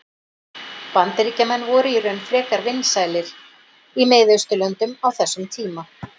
Bandaríkjamenn voru í raun frekar vinsælir í Mið-Austurlöndum á þessum tíma.